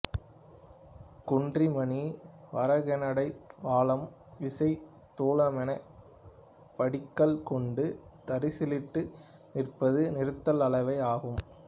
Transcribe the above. குன்றிமணி வராகனெடை பலம் வீசை துலாமெனப் படிக்கல் கொண்டு தராசிலிட்டு நிறுப்பது நிறுத்தல் அளவை ஆகும்